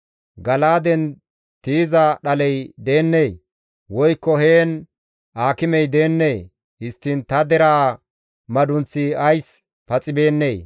Gala7aaden tiyiza dhaley deennee? Woykko heen aakimey deennee? Histtiin ta deraa madunththi ays paxibeennee?